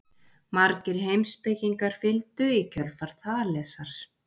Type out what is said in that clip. Margir heimspekingar fylgdu í kjölfar Þalesar.